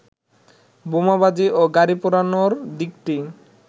বোমাবাজি ও গাড়ি পোড়ানোর দিকটি